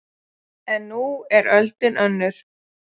En nú er öldin önnur